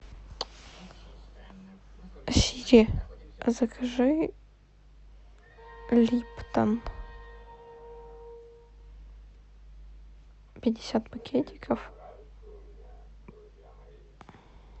сири закажи липтон пятьдесят пакетиков